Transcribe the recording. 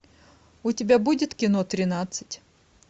у тебя будет кино тринадцать